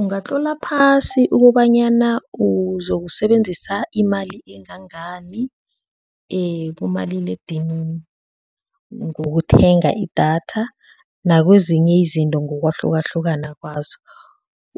Ungatlola phasi ukobanyana uzokusebenzisa imali engangani ekumaliledinini ngokuthenga idatha nakwezinye izinto ngokwahlukahlukana kwazo,